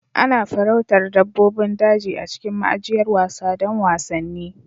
Ana farauta dabbobin daji a cikin ma'ajiyar wasa don wasanni.